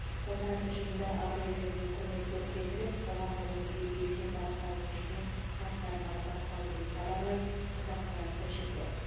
салтанатты жиында ардагерлерге құрмет көрсетіліп қоғамдық өмірге белсенді атсалысып жүрген қарттар марапатталды деп хабарлайды қазақпарат тілшісі